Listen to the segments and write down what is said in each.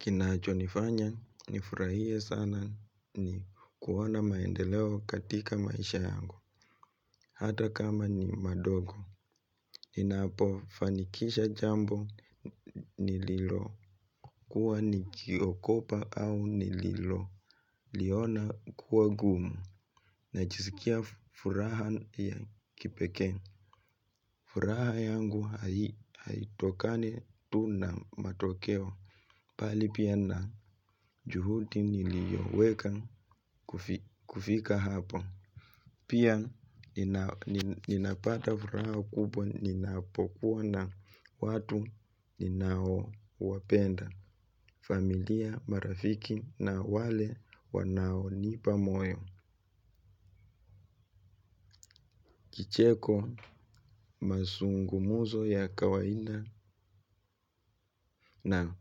Kinachonifanya, nifurahie sana ni kuona maendeleo katika maisha yangu, hata kama ni madogo. Ninapofanikisha jambo nililo, kuwa nikiogopa au nililo, liona kuwa ngumu, najisikia furaha ya kipekee. Furaha yangu haitokani tu na matokeo. Bali pia na juhudi nilioweka kufika hapo. Pia ninapata furaha kubwa ninapokuwa na watu ninao wapenda. Familia marafiki na wale wanao nipa moyo. Kicheko mazungumzo ya kawaida na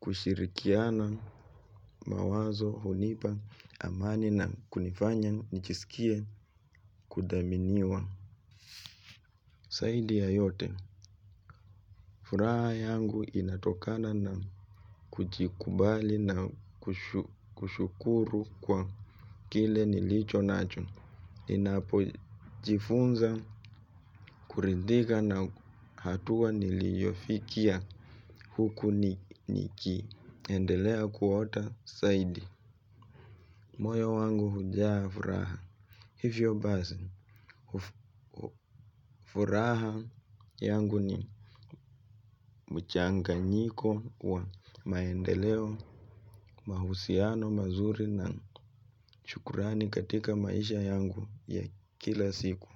kushirikiana mawazo hunipa amani na kunifanya nijisikie kudhaminiwa. Zaidi ya yote, furaha yangu inatokana na kujikubali na kushukuru kwa kile nilicho nacho. Ninapojifunza kuridhika na hatua niliyofikia huku nikiendelea kuota zaidi. Moyo wangu hujaa furaha. Hivyo basi furaha yangu ni mchanganyiko wa maendeleo mahusiano mazuri na shukurani katika maisha yangu ya kila siku.